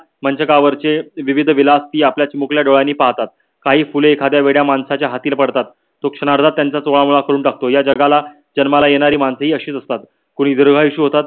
मंचकवरचे विविध विलासी आपल्या चिमुकल्या डोदहयाने पाहतात. काही फुले एखाद्या वेड्या माणसाच्या हाताने पडतात. तो क्षणार्धात त्यांचा तोंडामोड करून टाकतात. या जगात जन्माला येणारी मनसे ही अशीच असतात. कोणी दीर्घायु होतात.